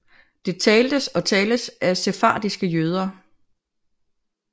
Det taltes og tales af sefardiske jøder